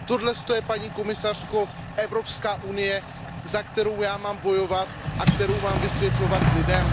Toto je paní komisařko Evropská unie, za kterou já mám bojovat a kterou mám vysvětlovat lidem?